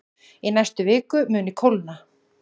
Í næstu viku muni kólna